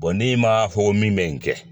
Bon n'i ma fo min bɛ n kɛ